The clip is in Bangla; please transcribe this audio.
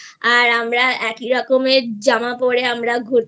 আমরা একই রকমের জামা পরে আমরা ঘুরতে